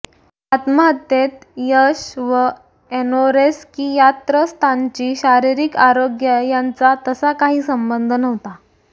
आत्महत्येत यश व ऍनोरेक्सियात्रस्तांची शारीरिक आरोग्य यांचा तसा काही संबंध नव्हता